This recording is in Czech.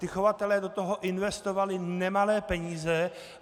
Ti chovatelé do toho investovali nemalé peníze.